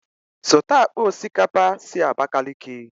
Zụta akpa osikapa si Abakiliki!